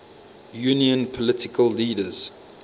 union political leaders